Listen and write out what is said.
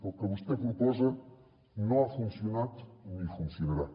el que vostè proposa no ha funcionat ni funcionarà